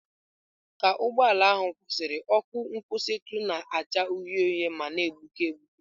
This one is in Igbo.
Ka ụgbọ ala ahụ kwụsịrị, ọkụ nkwụsịtụ na-acha uhie uhie ma na-egbuke egbuke.